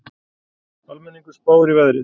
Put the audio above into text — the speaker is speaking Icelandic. Almenningur spáir í veðrið